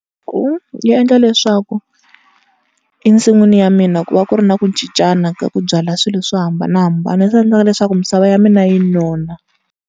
Yi endla leswaku ensin'wini ya mina ku va ku ri na ku cincana ka ku byala swilo swo hambanahambana, leswi endlaka leswaku misava ya mina yi nona.